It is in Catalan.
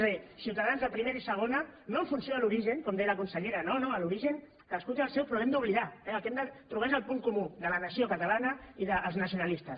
és a dir ciutadans de primera i segona no en funció de l’origen com deia la consellera no no l’origen cadascú té el seu però l’hem d’oblidar el que hem de trobar és el punt comú de la nació catalana i els nacionalistes